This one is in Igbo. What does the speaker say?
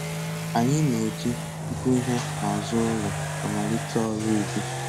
Anyị na-eji ịkụ ihe n'azụ ụlọ amalite ọrụ ubi